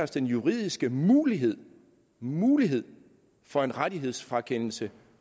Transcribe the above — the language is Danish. den juridiske mulighed mulighed for en rettighedsfrakendelse